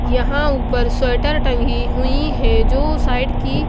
यहां ऊपर स्वेटर टंगी हुई है जो साइड की--